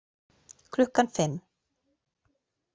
Klukkan fimm.